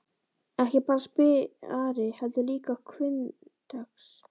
Ekki bara spari, heldur líka hvunndags.